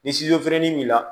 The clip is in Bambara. Ni finini b'i la